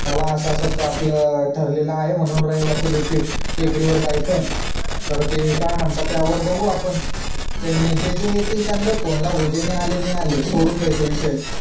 कि असं असं आपलं ठरलेला आहे म्हणून कि रविवार चा दिवशी टेकडी वर जायचा ब् र ते काय म्हणतात ते बघू आपण त्यांनी जे जे ते येतील त्यांनाच फोने लाव जे नाय आले ते नाय आले सोडून द्यायचं विषय